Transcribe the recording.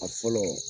A fɔlɔ